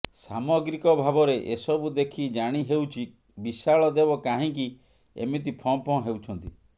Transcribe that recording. ସାମଗ୍ରିକ ଭାବରେ ଏସବୁ ଦେଖି ଜାଣିହେଉଛି ବିଶାଳ ଦେବ କାହିଁକି ଏମିତି ଫଁ ଫଁ ହେଉଛନ୍ତି